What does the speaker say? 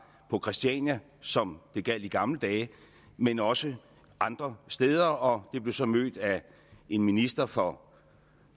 på christiania som det gjaldt i gamle dage men også andre steder og det blev så mødt af en minister for